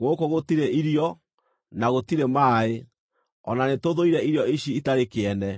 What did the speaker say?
Gũkũ gũtirĩ irio! Na gũtirĩ maaĩ! O na nĩtũthũire irio ici itarĩ kĩene!”